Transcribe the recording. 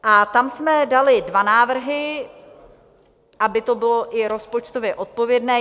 A tam jsme dali dva návrhy, aby to bylo i rozpočtově odpovědné.